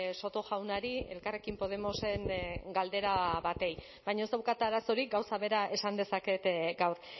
soto jaunari elkarrekin podemosen galdera bati baina ez daukat arazorik gauza bera esan dezaket gaur